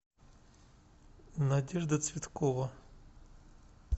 надежда цветкова